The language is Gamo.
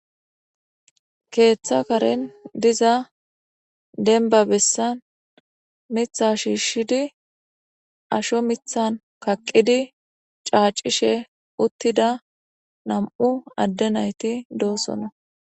keeththa karen diza denba bessan mitha shiishshidi asho mithan kaqqidi caacishe uttida nam'u adde nayti doosona